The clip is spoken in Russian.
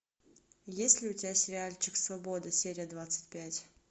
есть ли у тебя сериальчик свобода серия двадцать пять